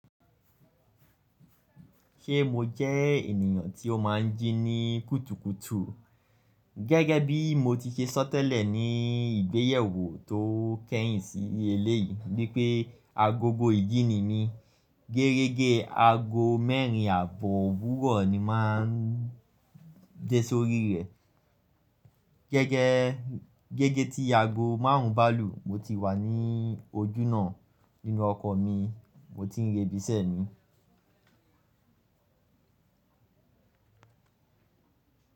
Ṣé mo jẹ́ ènìyàn tí ó máa ń jí ní kùtùkùtù? Gẹ́gẹ́ bí mo ti ṣe sọ tẹ́lẹ̀ ní ìgbéyẹwó tó kẹ́yìn sí eléyìí wípé agogo ìjí ni mí. Gerege ago mẹ́rin àbọ̀ owurọ ni máa ń dé sórí rẹ̀. Gẹ́gẹ́, gege tí ago márùn-ún balù mo ti wà ní ojúná nínú ọkọ̀ mi, mo ti ń rébi sẹ́ mi.